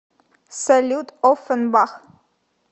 салют офенбах